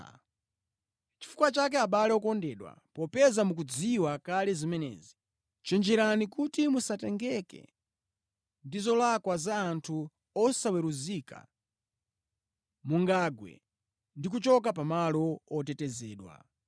Nʼchifukwa chake, abale okondedwa, popeza mukuzidziwa kale zimenezi, chenjerani kuti musatengeke ndi zolakwa za anthu osaweruzika, mungagwe ndi kuchoka pamalo otetezedwa.